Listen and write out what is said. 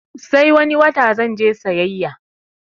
Sai wani wata zanje sayayya